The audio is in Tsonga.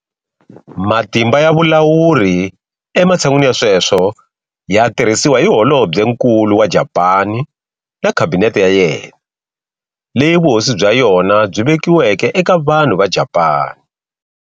Matimba ya vulawuri ematshan'wini ya sweswo ya tirhisiwa hi Holobyenkulu wa Japani na Khabinete ya yena, leyi vuhosi bya yona byi vekiweke eka vanhu va Japani.